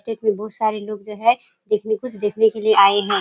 ये बहुत सारे लोग जो है ये देखने के लिए आये हैं।